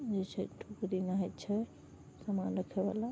इ जे छै टोकरी में छै सामान रखे वाला --